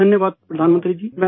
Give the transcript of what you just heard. شکریہ وزیر اعظم صاحب